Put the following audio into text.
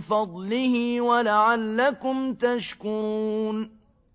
فَضْلِهِ وَلَعَلَّكُمْ تَشْكُرُونَ